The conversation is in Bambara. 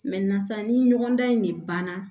ni ɲɔgɔn dan in de banna